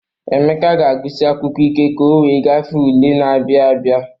Emeka ga-agụsi akwụkwọ ike ka o wee gafee n'ule na-abịa abịa.